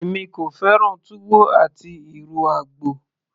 èmi kò fẹ́ràn túwó àti ìrù àgbò